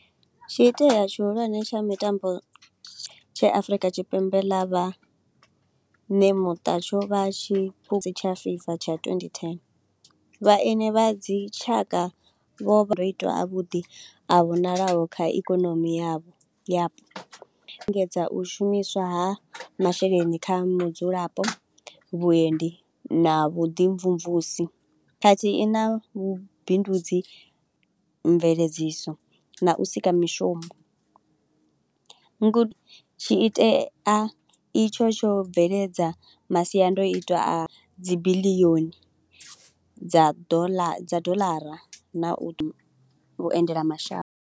Tsho iteaho tshihulwane tsha mitambo tshe Afurika Tshipembe ḽa vha nemuṱa tsho vha tshiphuga tsha FIFA tsha twenty ten. Vhaeni vha dzi tshaka vho vha a vhuḓi a vhonalaho kha ikonomi yavho lingedza u shumiswa ha masheleni kha mudzulapo, vhuendi na vhu ḓi mvumvusi khathihi na vhubindudzi, mveledziso na u sika mishumo. Ngudo tshi itea itsho tsho bveledza masiandoitwa a dzi billion dza dollar dza dollar na u vhu vhuendela mashango.